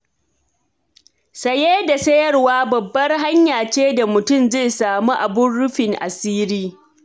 Saye da sayarwa babbar hanya ce da mutum zai samu abun rufin asiri.